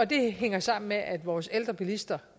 det hænger sammen med at vores ældre bilister